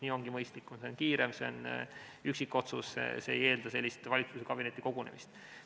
Nii ongi mõistlikum, sellega on kiire, see on üksikotsus, see ei eelda valitsuskabineti kogunemist.